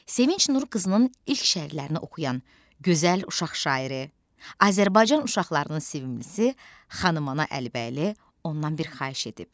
Sevinc Nurqızının ilk şeirlərini oxuyan gözəl uşaq şairi, Azərbaycan uşaqlarının sevimlisi Xanım Aana Əlibəyli ondan bir xahiş edib.